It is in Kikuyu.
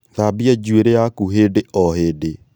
Thambia juĩirĩ yaku hĩndĩ o hĩndĩ